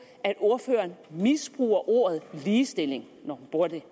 at ordføreren misbruger ordet ligestilling når hun bruger det